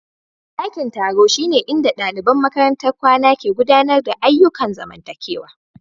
Ɗakin taro shine inda ɗaliban makarantar kwana ke gudanar da ayyukan zamantakewa.